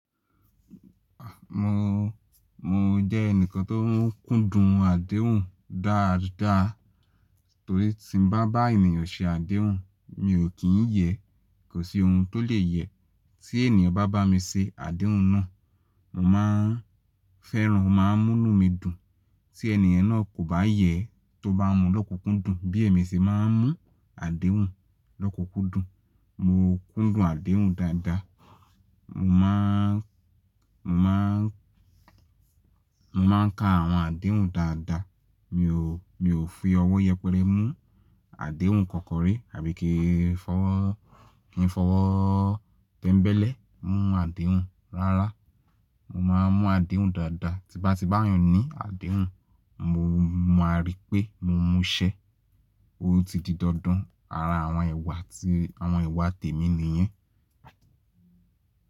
À, mo, mo jẹ́ ẹnìkan tó ń kúndùn àdéhùn dáadáa torí tí n bá bá ènìyàn ṣe àdéhùn mi ò kí ń yẹ, kò sí ohun tó lè yẹ. Tí ènìyàn bá bá mi se àdéhùn náà, mo máa ń fẹ́ràn, o máa ń mú nù mi dùn. Tí ènìyàn náà kò bá yẹ tó bá mú lọ́kùkúndùn bí èmi se máa ń mú àdéhùn lọ́kùkúndùn. Mo kúndùn àdéhùn dáadáa. Mo má ń, mo má ń, mo máa ń ka àwọn àdéhùn dáadáa. Mi ò, mi ò fi ọwọ́ yẹpẹrẹ mú àdéhùn kan kan ri àbí kí n fọwọ́, fọwọ́ tẹ́ńbẹ́lẹ́ mú àdéhùn. Rárá, mo máa ń mú àdéhùn dáadáa. Tí bá ti bá yàn ní àdéhùn, mo, mo máa rí pé mo múṣẹ. Ó ti di dandan ara àwọn iwà tí àwọn iwà tèmi nìyẹn.